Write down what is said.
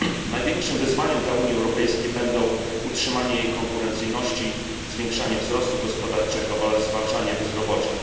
Największym wyzwaniem dla Unii Europejskiej będą utrzymanie jej konkurencyjności, zwiększanie wzrostu gospodarczego oraz zwalczanie bezrobocia.